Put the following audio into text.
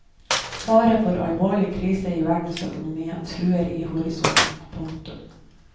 Fare for alvorlig krise i verdensøkonomien truer i horisonten. punktum